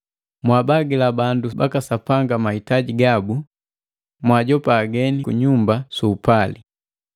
Mwabagila bandu baka Sapanga mahitaji gabu, mwaajopa hageni kunyumba su upali.